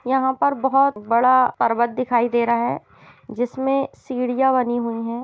यहाँ पर बहोत बड़ा पर्वत दिखाई दे रहा है जिसमें सीढियाँ बनी हुई हैं।